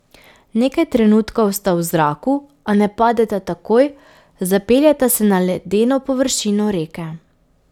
Nekaj trenutkov sta v zraku, a ne padeta takoj, zapeljeta se na ledeno površino reke.